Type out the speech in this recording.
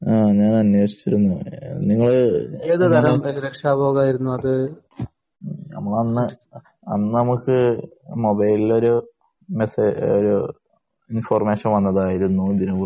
ആ ഞാൻ അന്വേഷിച്ചിരുന്നു. നിങ്ങള് ഞമ്മള് അന്ന് അന്ന് നമുക്ക് മൊബൈലില് ഒരു മെസേജ് ഒരു ഇൻഫർമേഷൻ വന്നതായിരുന്നു ഇതിനെ കുറിച്ച്